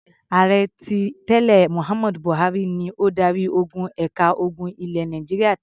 Ààrẹ tí tẹ́lẹ̀ Mohammed Buhari ni adarí-ogun ẹ̀ka ogun ilẹ̀ Nàìjíríà tẹ́lẹ̀.